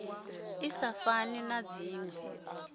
i sa fani na dzinwe